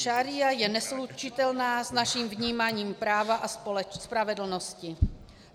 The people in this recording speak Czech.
Šaría je neslučitelná s naším vnímáním práva a spravedlnosti.